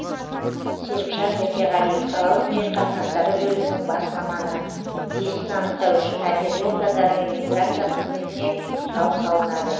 серікжан еркеғали қалалық жер қатынастары бөлімінің бас маманы иесін анықтау үшін әділет органдары мен миграция қызметіне сұрау салынады